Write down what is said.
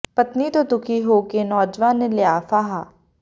ਪਤਨੀ ਤੋਂ ਦੁਖੀ ਹੋ ਕੇ ਨੌਜਵਾਨ ਨੇ ਲਿਆ ਫਾਹਾ